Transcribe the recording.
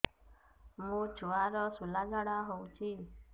ମୋ ଛୁଆର ସୁଳା ଝାଡ଼ା ହଉଚି